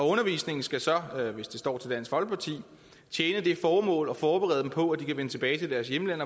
undervisningen skal så hvis det står til dansk folkeparti tjene det formål at forberede dem på at vende tilbage til deres hjemland